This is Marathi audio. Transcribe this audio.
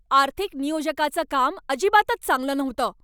आर्थिक नियोजकाचं काम अजिबातच चांगलं नव्हतं.